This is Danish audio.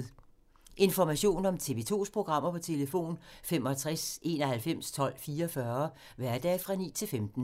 Information om TV 2's programmer: 65 91 12 44, hverdage 9-15.